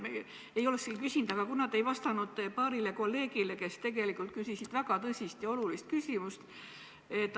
Ma ei olekski küsinud, aga te ei vastanud paarile kolleegile, kes tegelikult küsisid väga tõsist ja olulist küsimust.